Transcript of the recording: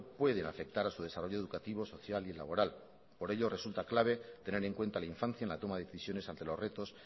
pueden afectar a su desarrollo educativo social y laboral por ello resulta clave tener en cuenta a la infancia en la toma de decisiones ante los retos